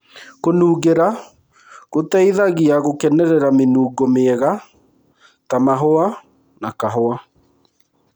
Kũnungĩra gũtũteithagia gũkenerera mĩnungo mĩega ta mahũa na kahũa.